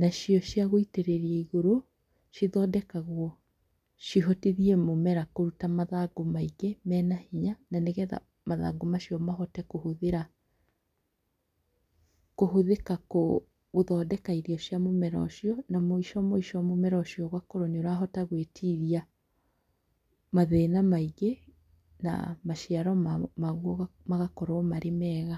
Nacio ciagwĩtĩrĩria igũrũ, cithondekagwo cihotithie mũmera kũruta mathangũ maingĩ, menahinya nanĩgetha mathangũ macio mahote kũhũthĩra, kũhũthĩka gũthondeka irio cia mũmera ũcio, na mũico mũico mũmera ũcio ũgakorwo nĩũrahota gwĩtiria mathĩna maingĩ, na maciaro maguo magakorwo marĩ mega.